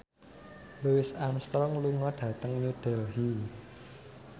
Louis Armstrong lunga dhateng New Delhi